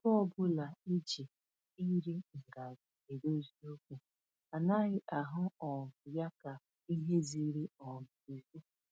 Ebe ọbụla e ji iri ngarị edozi okwu, anaghị ahụ um ya ka ihe ziri um ezi